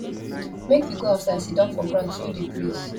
make you go outside siddon for ground feel di breeze